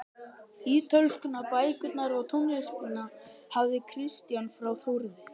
Ítölskuna, bækurnar og tónlistina hafði Kristján frá Þórði